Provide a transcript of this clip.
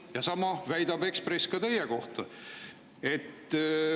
Ja sama väidab Ekspress teie kohta.